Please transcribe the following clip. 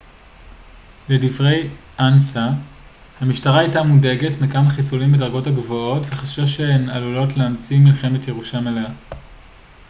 לדברי אנס א המשטרה הייתה מודאגת מכמה חיסולים בדרגות הגבוהות וחששה שהן עלולות להצית מלחמת ירושה מלאה